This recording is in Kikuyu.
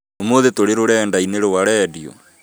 ũmũthĩ tũrĩ rũrenda-inĩ rwa rediũ